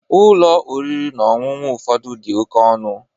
Ụlọ oriri na ọṅụṅụ ụfọdụ dị oke ọnụ.